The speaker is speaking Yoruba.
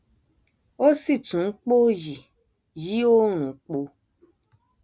ó sì tún npòòyì yí òòrùn po